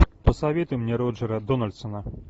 посоветуй мне роджера дональдсона